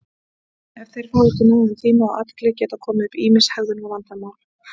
Ef þeir fá ekki nægan tíma og athygli geta komið upp ýmis hegðunarvandamál.